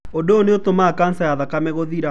Ũndũ ũyũ nĩ ũtũmaga kanca ya thakame gũthira.